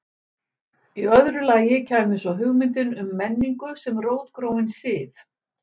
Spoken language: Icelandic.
í öðru lagi kæmi svo hugmyndin um menningu sem rótgróinn sið